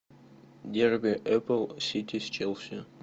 дерби апл сити с челси